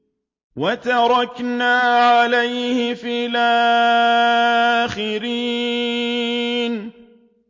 وَتَرَكْنَا عَلَيْهِ فِي الْآخِرِينَ